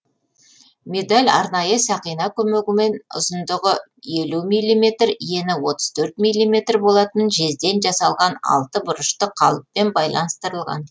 медаль арнайы сақина көмегімен ұзындығы елу миллиметр ені отыз төрт миллиметр болатын жезден жасалған алтыбұрышты қалыппен байланыстырылған